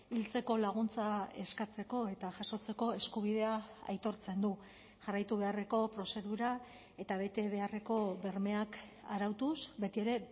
hiltzeko laguntza eskatzeko eta jasotzeko eskubidea aitortzen du jarraitu beharreko prozedura eta bete beharreko bermeak arautuz betiere